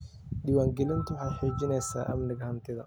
Diiwaangelintu waxay xaqiijinaysaa amniga hantida.